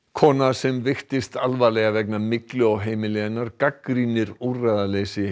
kona sem veiktist alvarlega vegna myglu á heimili hennar gagnrýnir úrræðaleysi